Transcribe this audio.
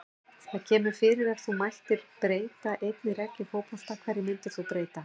Það kemur fyrir Ef þú mættir breyta einni reglu í fótbolta, hverju myndir þú breyta?